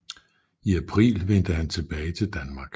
I april vendte han tilbage til Danmark